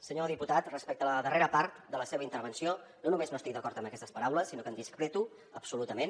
senyor diputat respecte a la darrera part de la seva intervenció no només no estic d’acord amb aquestes paraules sinó que en discrepo absolutament